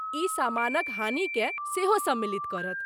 ई सामानक हानिकेँ सेहो सम्मिलित करत।